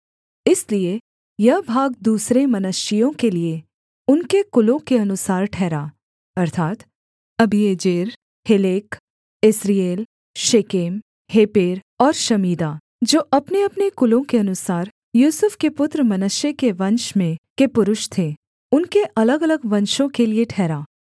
इसलिए यह भाग दूसरे मनश्शेइयों के लिये उनके कुलों के अनुसार ठहरा अर्थात् Abiezer Helek Asriel Shechem Hepher और शमीदा जो अपनेअपने कुलों के अनुसार यूसुफ के पुत्र मनश्शे के वंश में के पुरुष थे उनके अलगअलग वंशों के लिये ठहरा